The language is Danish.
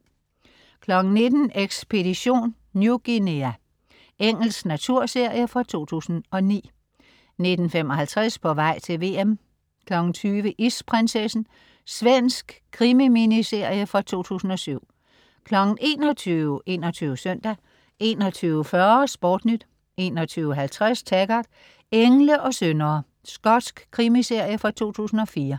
19.00 Ekspedition New Guinea. Engelsk naturserie fra 2009 19.55 På vej til VM 20.00 Isprinsessen. Svensk krimi-miniserie fra 2007 21.00 21 Søndag 21.40 SportNyt 21.50 Taggart: Engle og syndere. Skotsk krimiserie fra 2004